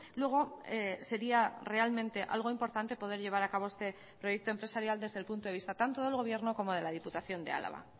luego sería realmente algo importante poder llevar a cabo este proyecto empresarial desde el punto de vista tanto del gobierno como de la diputación de álava